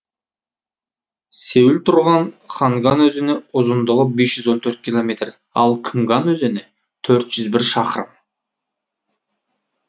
сеул тұрған ханган өзені ұзындығы бес жүз он төрт километр ал кымган өзені төрт жүз бір шақырым